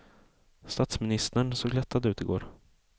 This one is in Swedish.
Statsministern såg lättad ut i går.